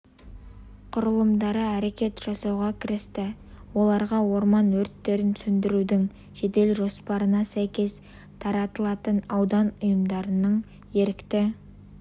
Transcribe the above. құрылымдары әрекет жасауға кірісті оларға орман өрттерін сөндірудің жедел жоспарына сәйкес тартылатын аудан ұйымдарының ерікті